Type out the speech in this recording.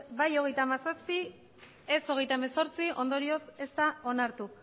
bai hogeita hamazazpi ez hogeita hemezortzi ondorioz ez da onartu